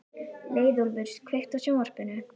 Leiðólfur, kveiktu á sjónvarpinu.